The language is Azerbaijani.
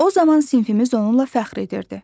O zaman sinfimiz onunla fəxr edirdi.